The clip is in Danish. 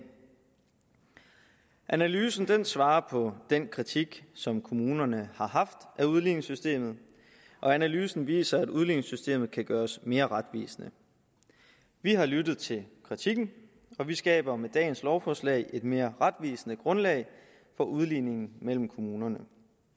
analysen svarer på den kritik som kommunerne har haft af udligningssystemet og analysen viser at udligningssystemet kan gøres mere retvisende vi har lyttet til kritikken og vi skaber med dagens lovforslag et mere retvisende grundlag for udligningen mellem kommunerne